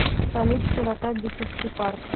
салют широта битцевский парк